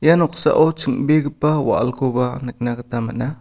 ia noksao ching·begipa wa·alkoba nikna gita man·a.